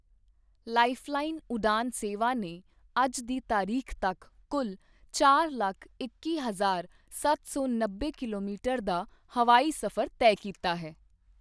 Lifeline Udan ਸੇਵਾ ਨੇ ਅੱਜ ਦੀ ਤਾਰੀਖ਼ ਤੱਕ ਕੁੱਲ ਚਾਰ ਲੱਖ ਇੱਕੀ ਹਜਾਰ ਸੱਤ ਸੌਨੱਬੇ ਕਿਲੋਮੀਟਰ ਦਾ ਹਵਾਈ ਸਫ਼ਰ ਤੈਅ ਕੀਤਾ ਹੈ।